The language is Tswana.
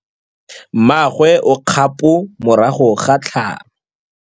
Mmagwe o kgapô morago ga tlhalô.